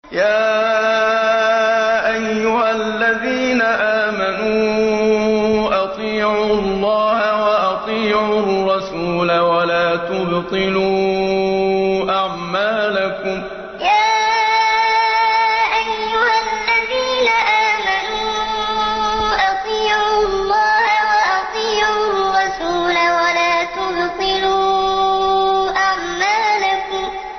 ۞ يَا أَيُّهَا الَّذِينَ آمَنُوا أَطِيعُوا اللَّهَ وَأَطِيعُوا الرَّسُولَ وَلَا تُبْطِلُوا أَعْمَالَكُمْ ۞ يَا أَيُّهَا الَّذِينَ آمَنُوا أَطِيعُوا اللَّهَ وَأَطِيعُوا الرَّسُولَ وَلَا تُبْطِلُوا أَعْمَالَكُمْ